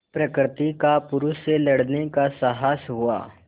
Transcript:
प्रकृति का पुरुष से लड़ने का साहस हुआ